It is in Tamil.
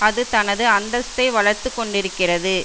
அது தனது அந்தஸ்தை வளர்த்து கொண்டிருக்கிறது